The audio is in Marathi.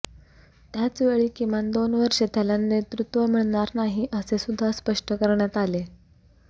त्याचवेळी किमान दोन वर्षे त्याला नेतृत्व मिळणार नाही असे सुद्धा स्पष्ट करण्यात आले